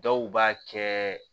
Dɔw b'a kɛ